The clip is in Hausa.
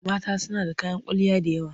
Mata suna da kayan kwalliya da yawa.